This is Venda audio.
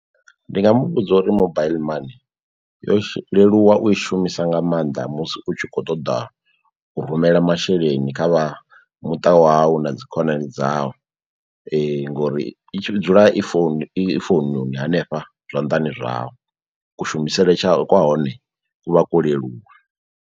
Ndi nga muvhudza uri mobaiḽi money yo leluwa u i shumisa nga maanḓa musi u tshi kho ṱoḓa u rumela masheleni kha vha muṱa wawu na dzi khonani dzavho ngori i dzula i founu i foununi hanefha zwanḓani zwau kushumisele kwa hone ku vha kwo leluwa.